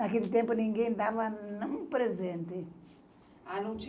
Naquele tempo, ninguém dava um presente. A não tinha